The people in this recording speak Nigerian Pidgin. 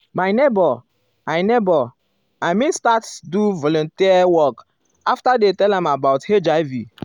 my neighbor i neighbor i mean start do volunteer work after dey tell am about hiv.